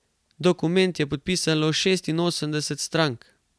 Dokument je podpisalo šestinosemdeset stark.